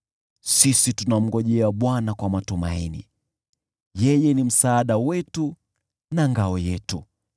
Sisi tunamngojea Bwana kwa matumaini, yeye ni msaada wetu na ngao yetu.